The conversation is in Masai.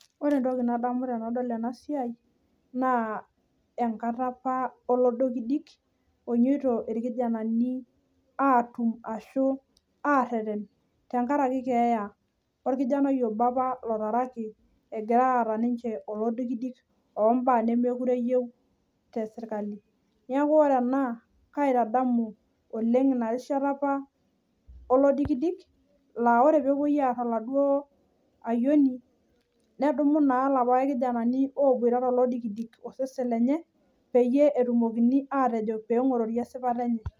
ore entoki nadamu tenadol ena siai naa enkata apa oloidikidik onyoito ilmuran aareten tenkaraki keeya oltungani apa otaraki eetae oloidikidik neeku kaitadamu apa ina rishata